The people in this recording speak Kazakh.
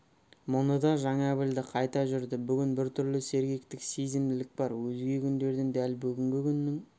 мұны да жаңа білді қайта жүрді бүгін біртүрлі сергектік сезімділік бар өзге күндерден дәл бүгінгі күннің